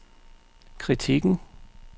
kritikken